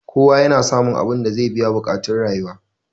kowa yana samun abinda zai biya buƙactun rayuwa